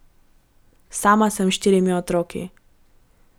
Sama sem s štirimi otroki.